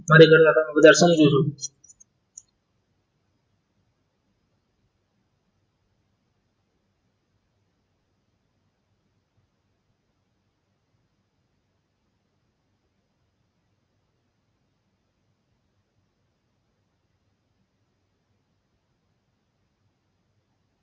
મારે કરતા તમે બધા સમજો છો